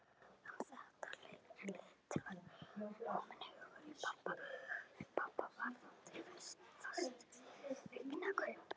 Um þetta leyti var kominn hugur í pabba varðandi fasteignakaup.